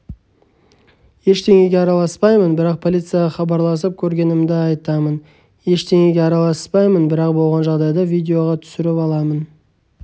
ештеңеге араласпаймын бірақ полицияға хабарласып көргенімді айтамын ештеңеге араласпаймын бірақ болған жағдайды видеоға түсіріп саламын